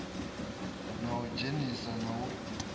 na u idzhenisa na u